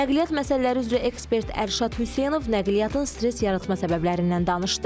Nəqliyyat məsələləri üzrə ekspert Ərşad Hüseynov nəqliyyatın stres yaratma səbəblərindən danışdı.